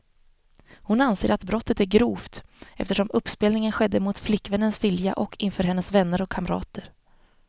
Hon anser att brottet är grovt, eftersom uppspelningen skedde mot flickvännens vilja och inför hennes vänner och kamrater.